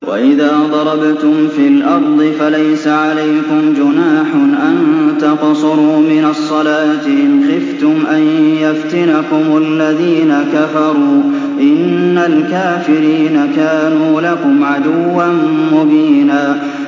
وَإِذَا ضَرَبْتُمْ فِي الْأَرْضِ فَلَيْسَ عَلَيْكُمْ جُنَاحٌ أَن تَقْصُرُوا مِنَ الصَّلَاةِ إِنْ خِفْتُمْ أَن يَفْتِنَكُمُ الَّذِينَ كَفَرُوا ۚ إِنَّ الْكَافِرِينَ كَانُوا لَكُمْ عَدُوًّا مُّبِينًا